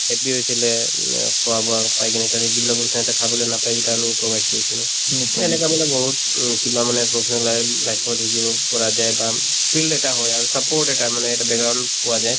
happy হৈছিলে um uh খোৱা-বোৱা পাই কাৰণ এই যিবিলাক সিহঁতে খাবলৈ নাপাই সেইকেইটা আমি provide কৰিছিলো এনেকা মানে বহুত উম কিবা মানে professional li life ত শিকিব পৰা যায় বা উম field এটা হয় আৰু support এটা মানে এটা background পোৱা যায়